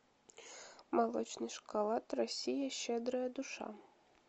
молочный шоколад россия щедрая душа